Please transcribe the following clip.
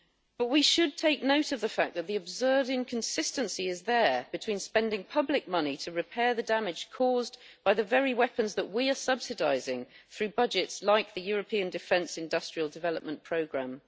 But we should take note of the fact that the absurd inconsistency is there between spending public money to repair the damage caused by the very weapons that we are subsidising through budgets like the European Defence Industrial Development Programme.